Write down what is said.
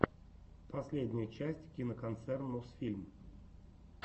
последняя часть киноконцерн мосфильм